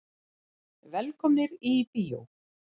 Velkomnir í bíó.